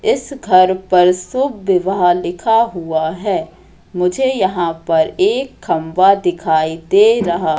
इस घर पर सुभ विवाह लिखा हुआ है मुझे यहां पर एक खंबा दिखाई दे रहा--